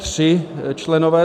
Tři členové.